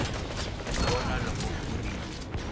ku vona loko ku ri